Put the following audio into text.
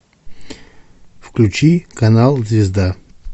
включи канал звезда